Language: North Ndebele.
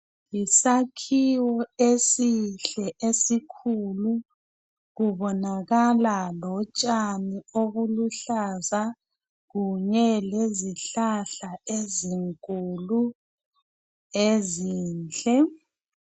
Yisakhiwo esihle esikhulu kubonakala lotshani obuluhlaza kunye lezihlahla ezinkulu ezinhle